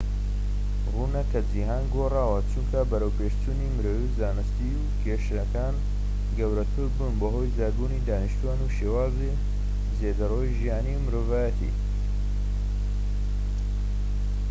ڕوونە کە جیهان گۆڕاوە چونکە بەرەوپێشچوونی مرۆیی و زانستی و کێشەکان گەورەتر بوون بەهۆی زیادبوونی دانیشتوان و شێوازی زێدەڕەوی ژیانی مرۆڤایەتی